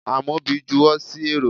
Amobi juwo sí érò